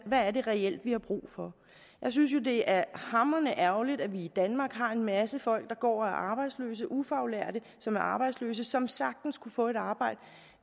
hvad er det reelt vi har brug for jeg synes jo det er hamrende ærgerligt at vi i danmark har en masse folk der går og er arbejdsløse ufaglærte som er arbejdsløse og som sagtens kunne få et arbejde